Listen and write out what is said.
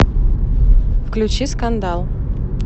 включи скандал